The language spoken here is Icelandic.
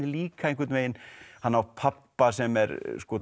líka einhvern veginn hann á pabba sem er